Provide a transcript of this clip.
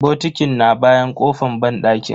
Bokitin na bayan kofan banɗakin.